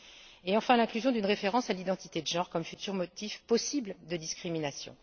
Pour finir, citons l'inclusion d'une référence à l'identité de genre comme futur motif possible de discrimination.